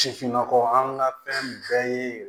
Sifinnakaw an ka fɛn bɛɛ ye